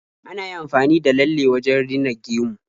Ana iya amfani da lalle wajen rina gemu.